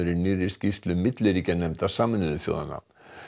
í nýrri skýrslu milliríkjanefndar Sameinuðu þjóðanna